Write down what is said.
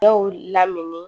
Dɔw lamini